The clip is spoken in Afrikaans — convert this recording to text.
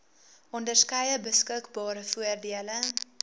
onderskeie beskikbare voordele